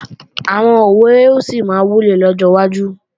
Àwọn òwe ó sì máa wúlò lọ́jọ́ wájú